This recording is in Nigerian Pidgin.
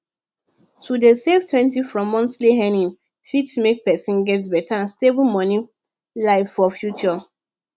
to dey savetwentyfrom monthly earnings fit make person get better and stable money life for future